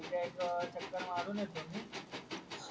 म्हणजे एक चक्कर मारून येतो मी